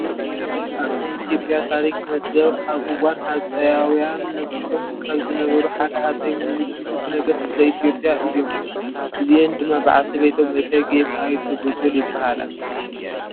ኣብ ናይ ኢ/ያ ታሪክ መዝገብ ኣብ እዋን ሃፀያውን ነጊሶም ካብ ዝነበሩ ሓደ ሃፀይ ሚኒሊክ ንጉሰ ነገስት ዘ-ኢ/ያ እዮም፡፡ እዝአን ድማ ባዓልቲ ቤቶም እተጌ ጣይቱ ብጡል ይባሃላ፡፡